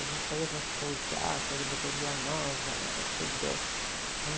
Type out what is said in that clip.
A gente só ia para show, teatro, ali no Doutor Villanova, ela era toda, né?